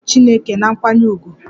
Na-ekwu aha chineke na nkwanye ùgwù!